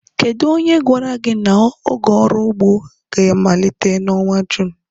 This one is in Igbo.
Kedu onye gwara gị na oge ọrụ ugbo ga-amalite n'ọnwa June?